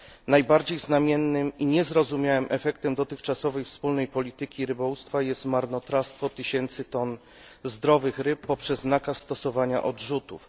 Najbardziej znamiennym i niezrozumiałym efektem dotychczasowej wspólnej polityki rybołówstwa jest marnotrawstwo tysięcy ton zdrowych ryb poprzez nakaz stosowania odrzutów.